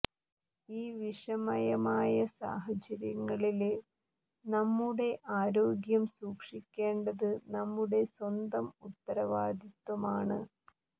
ഈ വിഷമയമായ സാഹചര്യങ്ങളില് നമ്മുടെ ആരോഗ്യം സൂക്ഷിക്കേണ്ടത് നമ്മുടെ സ്വന്തം ഉത്തരവാദിത്വമാണ്